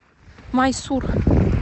майсур